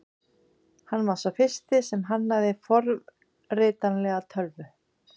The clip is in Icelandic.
Hann var sá fyrsti sem hannaði forritanlega tölvu.